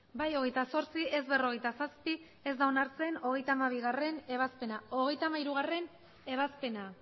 bai hogeita zortzi ez berrogeita zazpi ez da onartzen hogeita hamabigarrena ebazpena hogeita hamairugarrena ebazpena